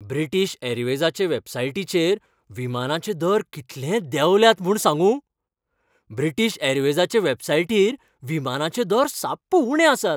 British ऍरवेजाचे वॅबसायटीचेर विमानाचे दर कितले देंवल्यात म्हूण सांगूं.ब्रिटीश ऍरवेजाचे वॅबसायटीर विमानाचे दर साप्प उणें आसात.